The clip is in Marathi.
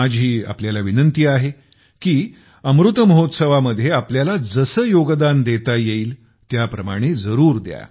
माझी आपल्याला विनंती आहे की अमृत महोत्सवामध्ये आपल्याला जसे योगदान देता येईल त्याप्रमाणे जरूर द्या